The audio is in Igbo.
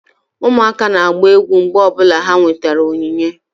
Ụmụaka na-agba egwu mgbe ọ bụla ha nwetara onyinye